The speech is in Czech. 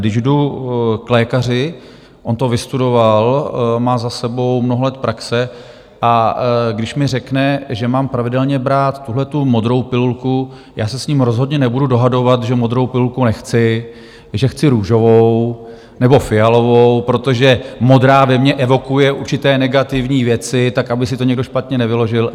Když jdu k lékaři, on to vystudoval, má za sebou mnoho let praxe, a když mi řekne, že mám pravidelně brát tuhletu modrou pilulku, já se s ním rozhodně nebudu dohadovat, že modrou pilulku nechci, že chci růžovou nebo fialovou, protože modrá ve mě evokuje určité negativní věci, tak aby si to někdo špatně nevyložil.